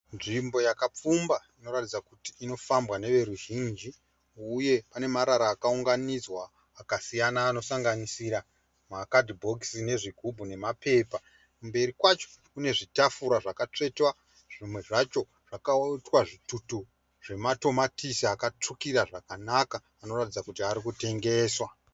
Nzvimbo yakapfumba inoratidza kuti inofambwa neveruzhinji uye pane marara akaunganidzwa akasiyana anosanganisira makadhibhokisi, zvigubhu nemapepa. Kumberi kwacho kune zvitafura zvakatsvetwa zvimwe zvacho zvaitwa zvitutu zvematomatisi akatsvukira zvakanaka anoratidza kuti arikutengeswa.